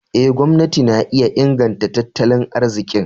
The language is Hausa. Eh, gwamnati na iya inganta tattali arzikin.